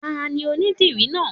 Tani onidìrí náà?